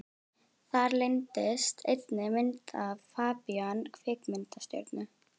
Þar leyndist einnig myndin af FABÍAN kvikmyndastjörnu.